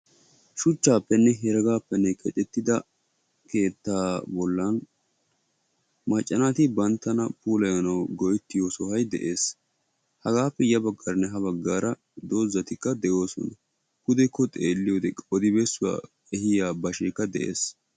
Shuchchaappenne heregaappenne keexettida keettaa bollan macca naati banttana puulayanawu go7ettiyo sohoy de7es. Hagaappe ya baggaaranne ha baggaara doozzatikka de7oosona. Pudekko xeelliyode qodi bessuwa ehiya basheekka de7es.